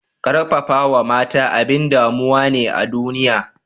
Karfafawa mata abin damuwa ne a duniya